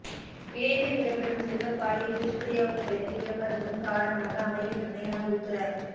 இணையத்தில் இடம்பெறும் சிறுவர் பாலியல் துஷ்பிரயோகங்களுக்கு விளம்பரங்களும் காரணமாக அமைகின்றன என உள்துற